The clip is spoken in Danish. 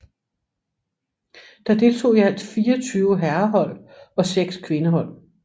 Der deltog i alt 24 herrehold og 6 kvindehold